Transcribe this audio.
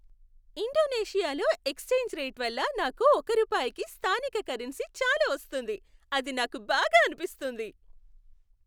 ఇండోనేషియాలో exchange rate వల్ల నాకు ఒక రూపాయికి స్థానిక కరెన్సీ చాలా వస్తుంది, అది నాకు బాగా అనిపిస్తుంది.